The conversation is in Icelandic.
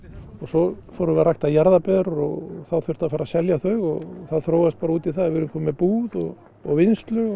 og svo fórum við að rækta jarðaber og þá þurfti að fara að selja þau og það þróaðist bara út í það að við erum komin með búð og vinnslu